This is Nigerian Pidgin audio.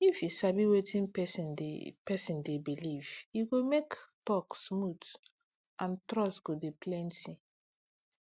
if you sabi wetin person dey person dey believe e go make talk smooth and trust go dey plenty